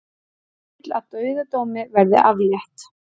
Vill að dauðadómi verði aflétt